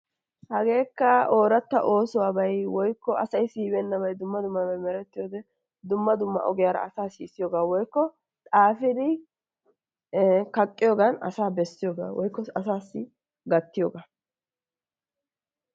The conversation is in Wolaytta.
Hageekka ooratta oosuwaabay woykko asay siyibeenabay dumma dummabay merettiyode dumma dumma ogiyaara asaa sisiyoogaa woikko xaafidi ee kaqqiyogan asaa besiyogaa woykko asaasi gattiyoogaa.